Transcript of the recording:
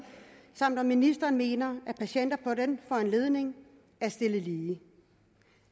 samt oplyse om ministeren mener at patienter på den foranledning er stillet lige